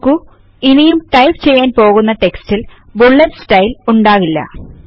നോക്കു ഇനിയും ടൈപ്പ് ചെയ്യാൻ പോകുന്ന റ്റെക്സ്റ്റിൽ ബുല്ലെറ്റ് സ്റ്റൈൽ ഉണ്ടാകില്ല